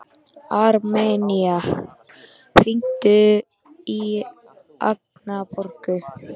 Armenía, hringdu í Agnborgu.